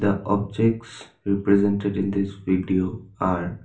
The objects represented in this video are --